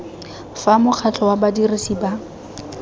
fa mokgatlho wa badirisi ba